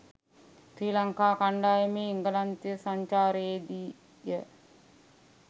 ශ්‍රී ලංකා කණ්‌ඩායමේ එංගලන්තය සංචාරයේදීය